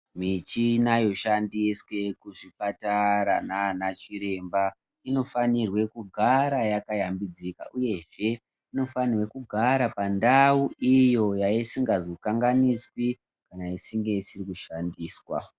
Michina inoshandiswa kuzvipatara nana chiremba inofanirwa kugara yakayambidzika uyezve inofanira kugara pandau iyo yaisingazokanganiswi kana isinge isiri kushandiswa.